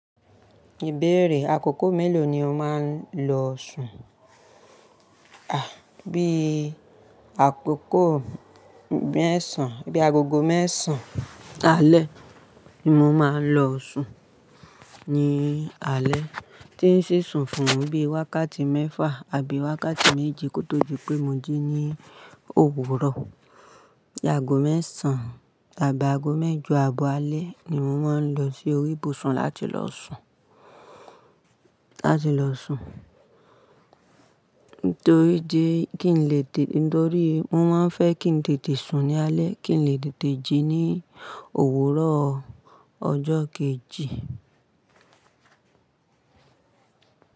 Ìbéèrè, àkókò mélòó ni o máa ń lọ sùn? À, bí i àkókò mẹ́sàn, bí i agogo mẹ́sàn alẹ́ ni mo máa ń lọ sùn. Ni alẹ́ tí ń ṣé sùn fún bí i wákàtí mẹ́fà àbí wákàtí méje kó tó di pé mo jí ní òwúrọ̀. Bí i ago mẹ́sàn àbí ago mẹ́jọ abọ́ alẹ́ ni mo máa ń lọ sí orí ibùsùn láti lọ sùn, láti lọ sùn. Ntorí di, kí n lè dì, ntorí mo máa ń fẹ́ kí n tètè sùn ní alẹ́, kí n lè tètè jí ní òwúrọ̀ ọjọ́ kejì.